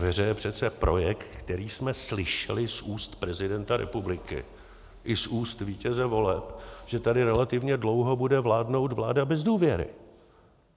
Ve hře je přece projekt, který jsme slyšeli z úst prezidenta republiky i z úst vítěze voleb, že tady relativně dlouho bude vládnout vláda bez důvěry.